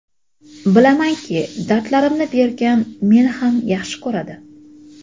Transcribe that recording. bilamanki dardlarimni bergan meni ham yaxshi ko‘radi.